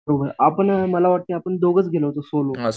बघूया, आपण मला वाटतं आपण दोघंच गेलो होतो सोलो